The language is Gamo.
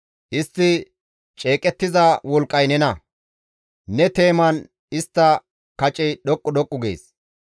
Istti ceeqettiza wolqqay nena; ne teeman istta kacey dhoqqu dhoqqu gees.